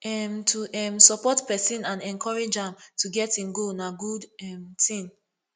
um to um support pesin and encourage am to get im goal na good um ting